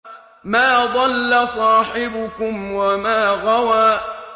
مَا ضَلَّ صَاحِبُكُمْ وَمَا غَوَىٰ